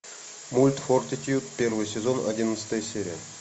мульт фортитьюд первый сезон одиннадцатая серия